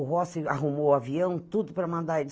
O Rossi arrumou o avião, tudo para mandar ele.